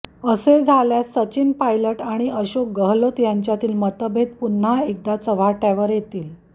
असे झाल्यास सचिन पायलट आणि अशोक गहलोत यांच्यातील मतभेद पुन्हा एकदा चव्हाट्यावर येतील